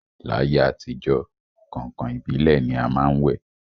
L'ayé àtijọ́, kàǹkàn ìbílẹ̀ ni a má ń wẹ̀